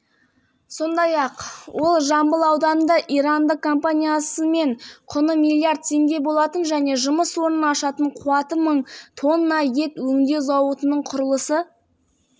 астана қазан қаз ұлттық экономика министрінің экс-министрі және бәйтерек ұлттық холдингінің бұрынғы басшысы қуандық бишімбаев